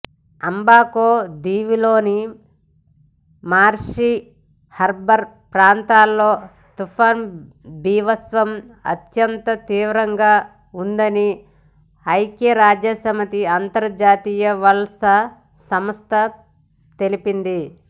Abaco దీవిలోని Marsh Harbour ప్రాంతంలో తుపాను బీభత్సం అత్యంత తీవ్రంగావుందని ఐక్యరాజ్య సమితి అంతర్జాతీయ వలస సంస్థ తెలిపింది